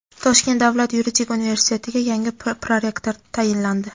Toshkent davlat yuridik universitetiga yangi prorektor tayinlandi.